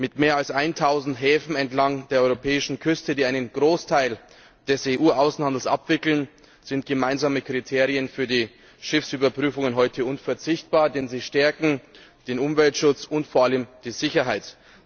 Mit mehr als 1000 Häfen entlang der europäischen Küste, die einen Großteil des EU Außenhandels abwickeln, sind gemeinsame Kriterien für die Schiffsüberprüfungen heute unverzichtbar, denn sie stärken den Umweltschutz und vor allem die Sicherheit.